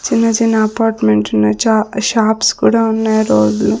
చిన్న-చిన్న apartment ఉన్నాయ్ చ shops కూడా ఉన్నాయ్ రోడ్ లో --